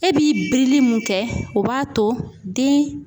E b'i birili mun kɛ o b'a to den